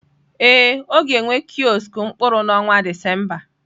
Ee, ọ ga-enwe kiosk mkpụrụ n'ọnwa Disemba.